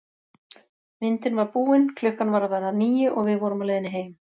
Myndin var búin, klukkan var að verða níu og við vorum á leiðinni heim.